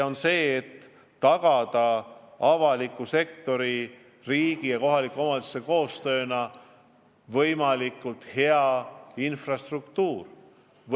Tuleb tagada avaliku sektori, riigi ja kohaliku omavalitsuse koostööna võimalikult hea infrastruktuur.